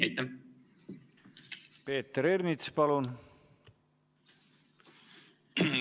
Peeter Ernits, palun!